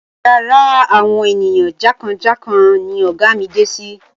Yàrá àwọn ènìyàn jàǹkàn jàǹkàn ni ọ̀gá mi dé sí.